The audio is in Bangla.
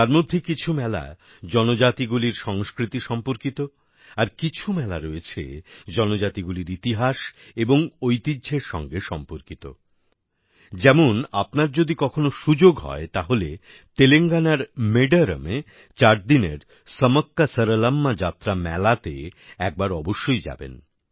তার মধ্যে কিছু মেলা জনজাতিগুলির সংস্কৃতি সম্পর্কিত আর কিছু মেলা রয়েছে জনজাতিগুলির ইতিহাস এবং ঐতিহ্যর সঙ্গে সম্পর্কিত যেমন আপনার যদি কখনো সুযোগ হয় তাহলে তেলেঙ্গানার মেডারমএ চারদিনের সমক্কাসরলম্মা যাত্রা মেলাতে একবার অবশ্যই যাবেন